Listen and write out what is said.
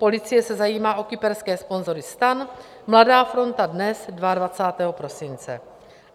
Policie se zajímá o kyperské sponzory STAN - Mladá fronta DNES 22. prosince.